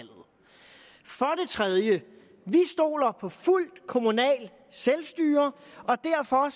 tredje vi stoler på fuldt kommunalt selvstyre derfor